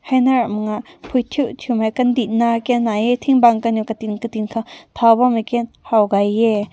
hae na ram mak na pui tui tui mai kandi na ken na yeh ting büng kanew katin katin kaw tao bam mei ken haw gaye.